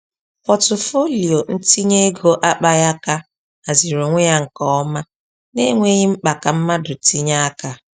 Pọtụfoliyo ntinye ego akpaghị aka haziri onwe ya nke ọma n’enweghị mkpa ka mmadụ tinye aka.